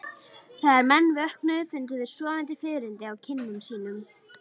Þegar menn vöknuðu fundu þeir sofandi fiðrildi á kinnum sínum.